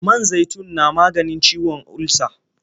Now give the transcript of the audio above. Man zaitun na maganin ciwon ulsa.